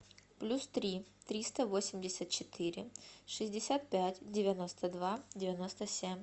плюс три триста восемьдесят четыре шестьдесят пять девяносто два девяносто семь